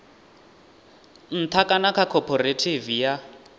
nṱha kana kha khophorethivi ya